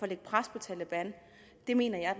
lægge pres på taleban mener jeg er